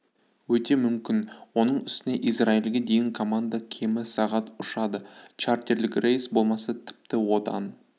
өте мүмкін оның үстіне израильге дейін команда кемі сағат ұшады чартерлік рейс болмаса тіпті одан